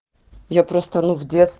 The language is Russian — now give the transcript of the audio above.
я просто ну